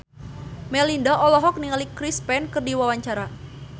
Melinda olohok ningali Chris Pane keur diwawancara